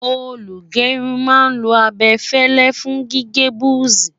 olú gerun má n lo abefele fún gígé buzi